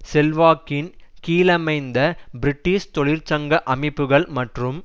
செல்வாக்கின் கீழமைந்த பிரிட்டிஷ் தொழிற்சங்க அமைப்புகள் மற்றும்